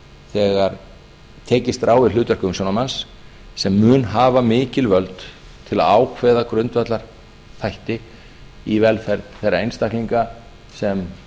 þegar tekist er á við hlutverk umsjónarmanns sem mun hafa mikil völd til að ákveða grundvallarþætti í velferð þeirra einstaklinga sem